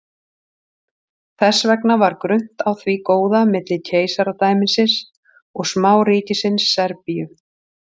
þess vegna var grunnt á því góða milli keisaradæmisins og smáríkisins serbíu